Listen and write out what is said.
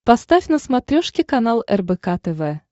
поставь на смотрешке канал рбк тв